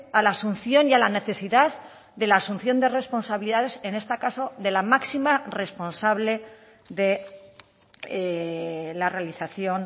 a la asunción y a la necesidad de la asunción de responsabilidades en este caso de la máxima responsable de la realización